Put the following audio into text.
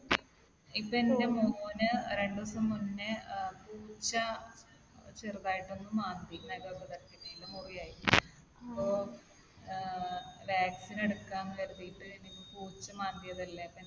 ഇതെന്റെ മോന് രണ്ട് ദിവസം മുന്നേ ഏർ പൂച്ച ചെറുതായിട്ടൊന്ന് മാന്തി. നഖമൊക്കെ തട്ടിയിട്ട് മുറിവായി. അപ്പൊ ഏർ vaccine എടുക്കാമെന്ന് കരുതിയിട്ട് ഇനി ഇപ്പൊ പൂച്ച മാന്തിയതല്ലേ